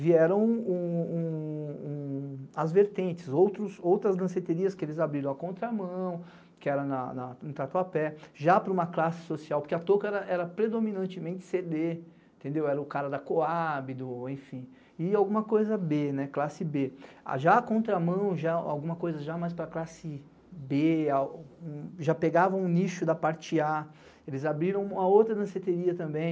vieram as vertentes, outras danceterias que eles abriram à contramão, que era na, em trato a pé, já para uma classe social, porque a toca era predominantemente cêdê, era o cara da Coab, enfim, e alguma coisa B, classe B. Já à contramão, alguma coisa já mais para a classe B, já pegavam o nicho da parte A, eles abriram a outra danceteria também,